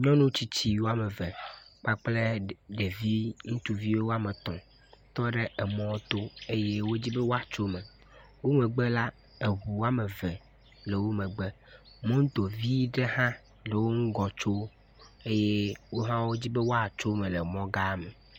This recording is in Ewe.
Nyɔnu tsitsi woameve kpakple ɖevi ŋutsuvi woametɔ̃ tɔ ɖe emɔ to eye wodzi be woatso eme womegbe la, eŋu woame eve le wo megbe, womegbe la, moto vi ɖe hã le wo ŋgɔ tso eye wohã wodzi be woatso eme le mɔga me